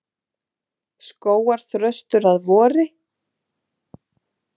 Skógarþröstur að vori.